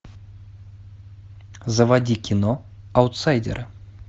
заводи кино аутсайдеры